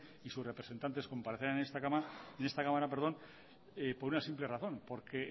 y sus representantes comparecerán en esta cámara por una simple razón porque